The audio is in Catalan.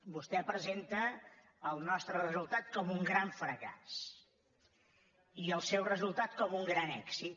vostè presenta el nostre resultat com un gran fracàs i el seu resultat com un gran èxit